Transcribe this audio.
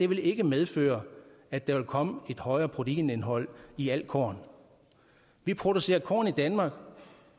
vil ikke medføre at der vil komme et højere proteinindhold i alt korn vi producerer korn i danmark